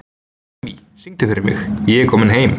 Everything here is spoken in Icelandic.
Emmý, syngdu fyrir mig „Ég er kominn heim“.